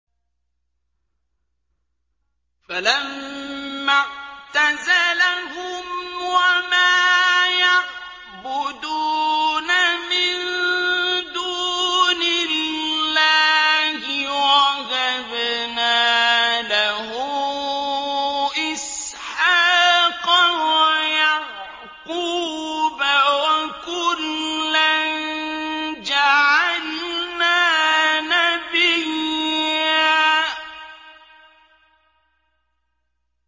فَلَمَّا اعْتَزَلَهُمْ وَمَا يَعْبُدُونَ مِن دُونِ اللَّهِ وَهَبْنَا لَهُ إِسْحَاقَ وَيَعْقُوبَ ۖ وَكُلًّا جَعَلْنَا نَبِيًّا